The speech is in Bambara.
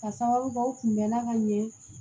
Ka sababu kɛ u kun bɛnna ka ɲɛ